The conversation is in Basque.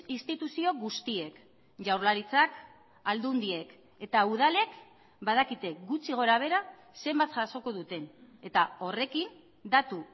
instituzio guztiek jaurlaritzak aldundiek eta udalek badakite gutxi gorabehera zenbat jasoko duten eta horrekin datu